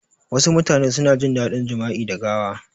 Wasu mutane suna jin dadin jama'i da gawa